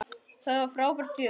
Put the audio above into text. Það var frábært fjör.